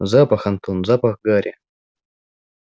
запах антон запах гари